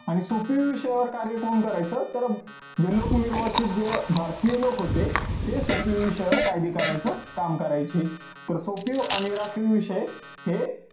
आणि सोपीव विषयावर कार्य कोण करायचं तर जे लोक निर्वाचित जे भारतीय लोक होते ते सोपीव विषयावर कायदे करायचं काम करायचे. तर सोपी आणि राखीव विषय हे